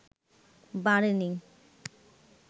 বাড়েনি